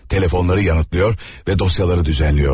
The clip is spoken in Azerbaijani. Telefonları yanıtlıyor və dosyaları düzenləyordu.